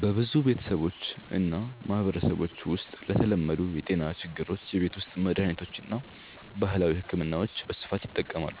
በብዙ ቤተሰቦችና ማህበረሰቦች ውስጥ ለተለመዱ የጤና ችግሮች የቤት ውስጥ መድሃኒቶችና ባህላዊ ሕክምናዎች በስፋት ይጠቀማሉ።